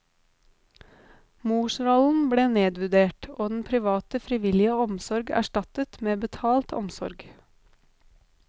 Morsrollen ble nedvurdert, og den private frivillige omsorg erstattet med betalt omsorg.